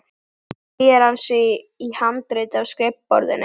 Síðan teygir hann sig í handritið á skrifborðinu.